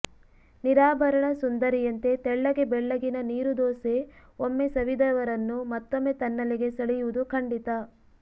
ನಿರಾಭರಣ ಸುಂದರಿಯಂತೆ ತೆಳ್ಳಗೆ ಬೆಳ್ಳಗಿನ ನೀರುದೋಸೆ ಒಮ್ಮೆ ಸವಿದವರನ್ನು ಮತ್ತೊಮ್ಮೆ ತನ್ನಲ್ಲಿಗೆ ಸೆಳೆಯುವುದು ಖಂಡಿತ